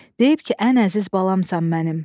Deyib ki, ən əziz balamsan mənim.